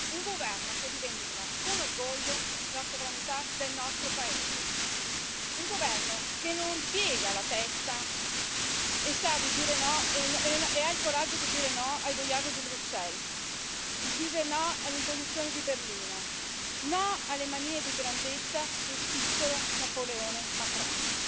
Un governo che rivendica con orgoglio la sovranità del nostro paese, un governo che non piega la testa e ha il coraggio di dire no ai boiardi di Bruxelles, di dire no alle imposizioni di Berlino, no alle manie di grandezza del piccolo Napoleone Macron,